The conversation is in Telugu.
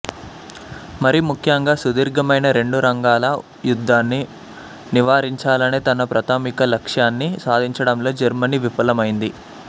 మరీ ముఖ్యంగా సుదీర్ఘమైన రెండురంగాల యుద్ధాన్ని నివారించాలనే తన ప్రాథమిక లక్ష్యాన్ని సాధించడంలో జర్మనీ విఫలమైంది